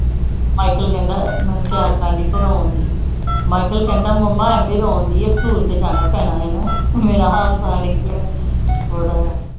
michael ਕਹਿੰਦਾ ਮੈਨੂੰ michael ਕਹਿੰਦਾ ਮੁਮਾ ਐਵੇ ਰੋਂਦੀ ਸਕੂਲ ਤੇ ਜਾਣਾ ਪੈਣਾ ਮੇਰਾ ਹਾਸਾ ਨਿਕਲਿਆ ਬੜਾ